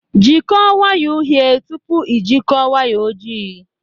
Jikọọ waya uhie tupu ị jikọọ waya ojii